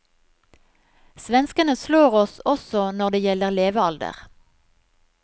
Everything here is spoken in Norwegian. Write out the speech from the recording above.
Svenskene slår oss også når det gjelder levealder.